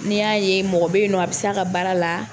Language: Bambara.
N'i y'a ye mɔgɔ bɛ yen nɔ a bɛ se a ka baara la.